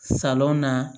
Salɔn na